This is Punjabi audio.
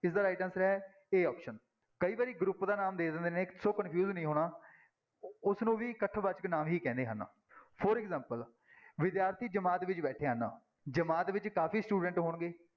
ਇਸਦਾ right answer ਹੈ a option ਕਈ ਵਾਰੀ group ਦਾ ਨਾਮ ਦੇ ਦਿੰਦੇ ਨੇ ਸੋ confuse ਨੀ ਹੋਣਾ ਉਸਨੂੰ ਵੀ ਇਕੱਠ ਵਾਚਕ ਨਾਂਵ ਹੀ ਕਹਿੰਦੇ ਹਨ for example ਵਿਦਿਆਰਥੀ ਜਮਾਤ ਵਿੱਚ ਬੈਠੇ ਹਨ, ਜਮਾਤ ਵਿੱਚ ਕਾਫ਼ੀ student ਹੋਣਗੇ,